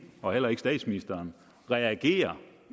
og heller ikke statsministeren reagerer